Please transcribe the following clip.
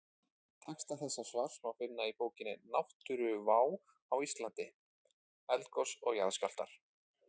Texta þessa svars má finna í bókinni Náttúruvá á Íslandi: Eldgos og jarðskjálftar.